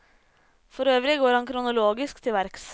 Forøvrig går han kronologisk til verks.